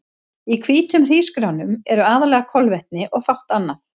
Í hvítum hrísgrjónum eru aðallega kolvetni og fátt annað.